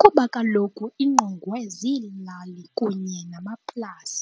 kuba kaloku ingqongwe ziilali kunye namaplasi.